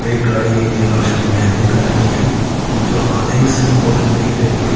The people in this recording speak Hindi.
एक गाड़ी जो लास्ट में मैरून कलर की हैं वो जो आधे हिस्से मे फोटो में दिख रही है गाड़ी--